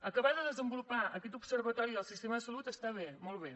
acabar de desenvolupar aquest observatori del sistema de salut està bé molt bé